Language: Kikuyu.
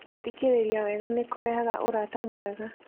Gũthikĩrĩria wega nĩ kũrehaga ũrata mwega.